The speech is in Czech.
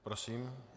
Prosím.